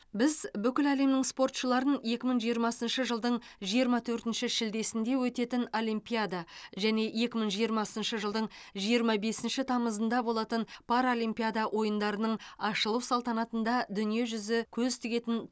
біз бүкіл әлемнің спортшыларын екі мың жиырмасыншы жылдың жиырма төртінші шілдесінде өтетін олимпиада және екі мың жиырмасыншы жылдың жиырма бесінші тамызында болатын паралимпиада ойындарының ашылу салтанатында дүниежүзі көз тігетін